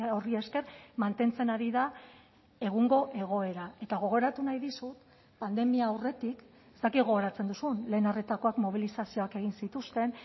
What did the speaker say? horri esker mantentzen ari da egungo egoera eta gogoratu nahi dizut pandemia aurretik ez dakit gogoratzen duzun lehen arretakoak mobilizazioak egin zituzten